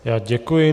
Já děkuji.